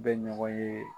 Bɛ ɲɔgɔn ye